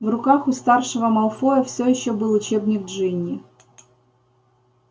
в руках у старшего малфоя все ещё был учебник джинни